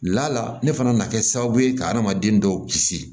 Lala ne fana nana kɛ sababu ye ka hadamaden dɔw kisi